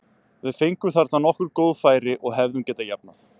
Við fengum þarna nokkur góð færi og hefðum getað jafnað.